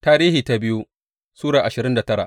biyu Tarihi Sura ashirin da tara